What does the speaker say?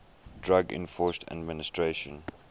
drug enforcement administration